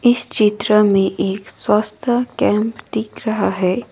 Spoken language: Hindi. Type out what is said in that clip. इस चित्र में एक स्वास्थ्य कैंप दिख रहा है।